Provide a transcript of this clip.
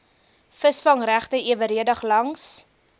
visvangregte eweredig langs